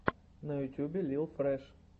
на ютубе лил фрэш